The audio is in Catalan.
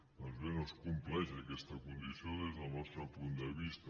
doncs bé no es compleix aquesta condició des del nostre punt de vista